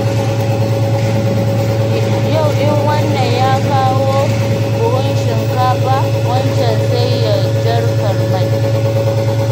Yau in wannan ya kawo buhun shinkafa wancan sai ya jarkar mai.